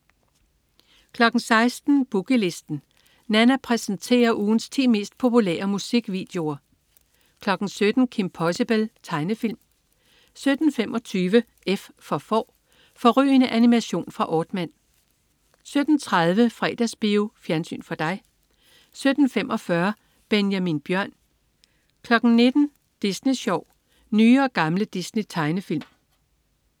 16.00 Boogie Listen. Nanna præsenterer ugens ti mest populære musikvideoer 17.00 Kim Possible. Tegnefilm 17.25 F for Får. Fårrygende animation fra Aardman 17.30 Fredagsbio. Fjernsyn for dig 17.45 Benjamin Bjørn 19.00 Disney Sjov. Nye og gamle Disney-tegnefilm